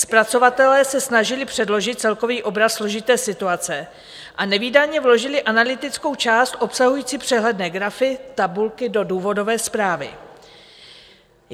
Zpracovatelé se snažili předložit celkový obraz složité situace a nevídaně vložili analytickou část obsahující přehledné grafy, tabulky do důvodové zprávy.